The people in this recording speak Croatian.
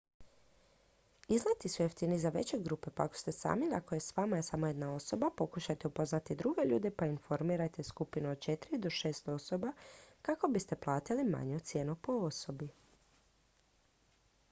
izleti su jeftiniji za veće grupe pa ako ste sami ili ako je s vama samo jedna osoba pokušajte upoznati druge ljude pa formirajte skupinu od četiri do šest osoba kako biste platili manju cijenu po osobi